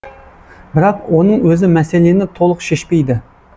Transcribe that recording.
бірақ оның өзі мәселені толық шешпейді